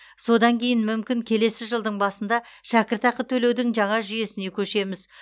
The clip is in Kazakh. содан кейін мүмкін келесі жылдың басында шәкіртақы төлеудің жаңа жүйесіне көшеміз